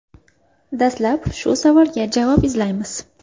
Dastlab shu savolga javob izlaymiz.